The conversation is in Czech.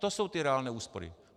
To jsou ty reálné úspory.